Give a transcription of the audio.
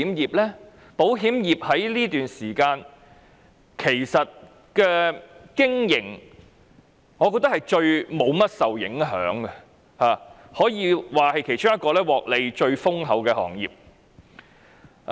我認為保險業在這段期間其實是在經營上最不受甚麼影響的行業，也可以說是其中一個獲利最豐厚的行業。